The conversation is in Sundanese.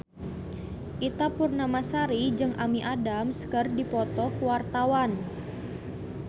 Ita Purnamasari jeung Amy Adams keur dipoto ku wartawan